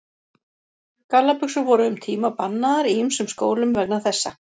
Gallabuxur voru um tíma bannaðar í ýmsum skólum vegna þessa.